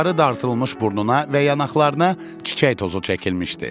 Yuxarı dartılmış burnuna və yanaqlarına çiçək tozu çəkilmişdi.